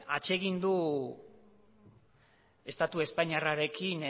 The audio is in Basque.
atsegin du estatu espainiarrarekin